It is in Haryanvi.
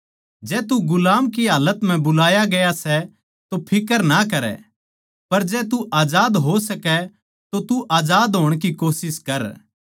जै तू गुलाम की हालत म्ह बुलाया गया सै तो फिक्र ना करै पर जै तू आजाद हो सकै तो तू आजाद होण की कोशिश कर